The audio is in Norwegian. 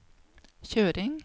kjøring